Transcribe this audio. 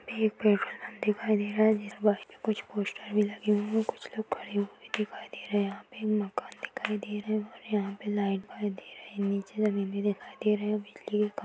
दिखाई दे रहे हैं कुछ पोस्टर भी लगे हुए हैं कुछ लोग खड़े हुए दिखाई दे रहे हैं यहाँ पे मकान दिखाई दे रहा है और नीचे लाइट दिखाई दे रही है और नीचे जमीन भी दिखाई दे रहे हैं और बिजली का खं--